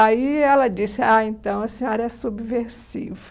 Aí ela disse, ah, então a senhora é subversiva.